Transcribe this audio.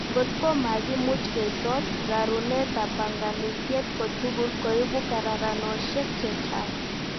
Ngot ko makimuch keisot, rarunetab banganutiet kotugul koibu kararanoshek chechang